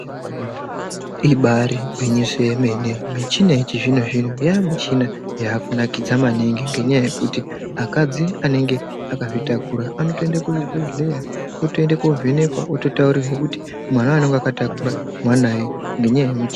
Ibari gwinyiso yemene. Michina yechizvino-zvino yamichina yakunakidza maningi ngenyaya yekuti akadzi anenge akzvitakura anotoende kuzvibhehleya otoende kovhenekwa ototaurirwe kuti mwana wanonga akatakura mwanai ngenyaya yemichi.